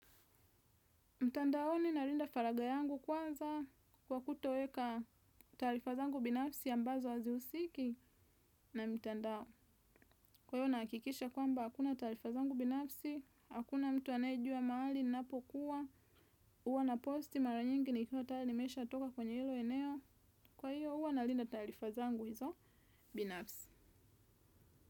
Mtandaoni nalinda faraga yangu kwanza kwa kutoweka tarifazangu binafsi ya mbazo hazi husiki na mitandao. Kwa hiyo nahakikisha kwamba hakuna tarifazangu binafsi, hakuna mtu anayejua mahali, ninapokuwa, huwa na posti mara nyingi nikiwo tayari nimesha toka kwenye hilo eneo. Kwa hiyo huwa nalinda tarifa zangu hizo binafsi.